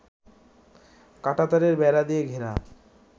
কাঁটাতারের বেড়া দিয়ে ঘেরা